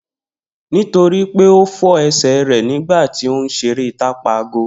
Nitoripe o fọ ẹsẹ rẹ nigba ti o nṣere tapa ago